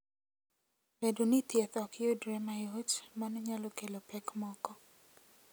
Bedo ni thieth ok yudre mayot, mano nyalo kelo pek moko.